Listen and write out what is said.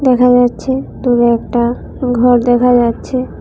দেখা যাচ্ছে দুরে একটা ঘর দেখা যাচ্ছে।